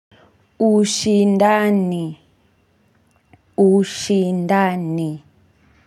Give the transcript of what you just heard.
Ushindani. Ushindani.